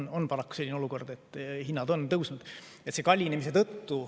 Meil on paraku selline olukord, et hinnad on tõusnud.